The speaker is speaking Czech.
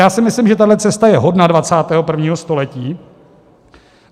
Já si myslím, že tahle cesta je hodna 21. století.